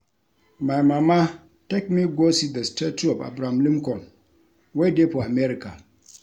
My mama take me go see the statue of Abraham Lincoln wey dey for America